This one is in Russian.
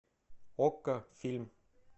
окко фильм